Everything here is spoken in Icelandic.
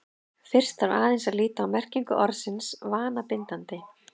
fyrst þarf aðeins að líta á merkingu orðsins „vanabindandi“